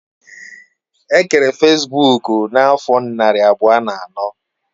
E kere fesbuk n'afo nari abuo na ano